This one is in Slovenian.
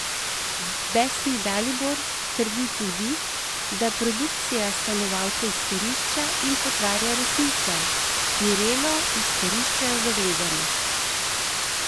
Besni Dalibor trdi tudi, da produkcija stanovalce izkorišča in potvarja resnico: 'Mirelo izkoriščajo za gledanost.